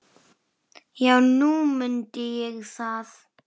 Já, nú mundi ég það.